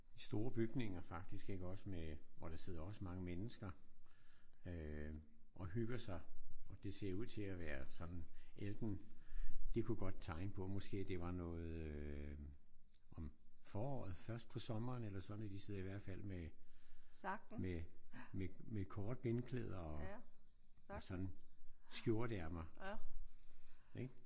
Store bygninger faktisk iggås? Med hvor der sidder også mange mennesker øh og hygger sig og det ser ud til at være sådan enten kunne godt tegne på at det var noget øh om foråret først på sommeren eller sådan ik? De sidder i hvert fald med korte benklæder og sådan skjorteærmer ik?